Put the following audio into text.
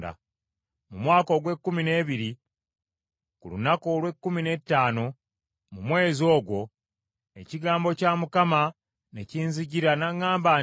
Mu mwaka ogw’ekkumi n’ebiri, ku lunaku olw’ekkumi n’ettaano mu mwezi ogwo, ekigambo kya Mukama ne kinzijira n’aŋŋamba nti,